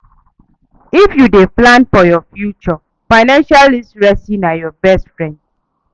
If you dey plan for your future, financial literacy na your best friend